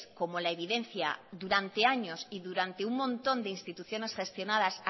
como la evidencia durante años y durante un montón de instituciones gestionadas